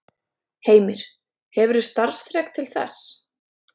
Heimir: Hefurðu starfsþrek til þess?